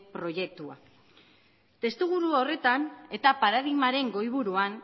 proiektua testuinguru horretan eta paradigmaren goiburuan